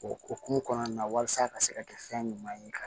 O hokumu kɔnɔna na walasa a ka se ka kɛ fɛn ɲuman ye